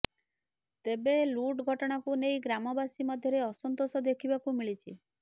ତେବେ ଲୁଟ୍ ଘଟଣାକୁ ନେଇ ଗ୍ରାମବାସୀ ମଧ୍ୟରେ ଅସନ୍ତୋଷ ଦେଖିବାକୁ ମିଳିଛି